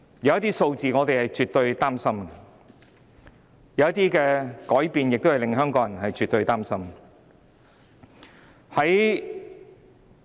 有些數字令我們很擔心，有些改變亦絕對令香港人很擔心。